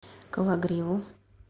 кологриву